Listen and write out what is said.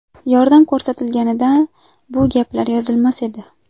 Yordam ko‘rsatilganida bu gaplar yozilmas edi.